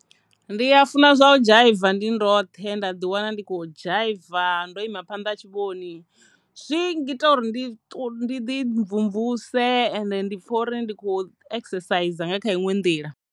Ndi a funa zwa u dzhaiva ndi ndoṱhe nda ḓi wana ndi khou dzhaiva ndo ima phanḓa ha tshivhoni zwi ngita uri ndi ṱu ndi ḓi mvumvuse ende ndi pfha uri ndi kho exercise nga kha iṅwe nḓila.